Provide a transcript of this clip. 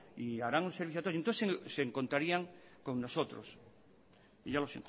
y harán un servicio a todos y entonces se encontraría con nosotros y ya lo